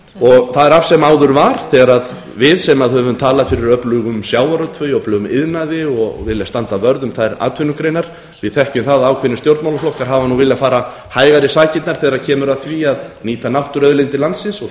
það er af sem áður var þegar við sem höfum talað fyrir öflugum sjávarútvegi öflugum iðnaði og viljum standa vörð um þær atvinnugreinar við þekkjum það að ákveðnir stjórnmálaflokkar hafa viljað fara hægar í sakirnar þegar kemur að því að nýta náttúruauðlindir landsins og